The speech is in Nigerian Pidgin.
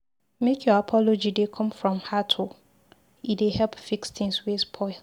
Make your apology dey come from heart o, e dey help fix tins wey spoil.